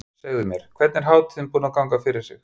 Segðu mér, hvernig er hátíðin búin að ganga fyrir sig?